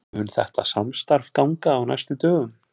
Mun þetta samstarf ganga á næstu dögum?